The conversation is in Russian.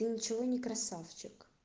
и ничего не красавчик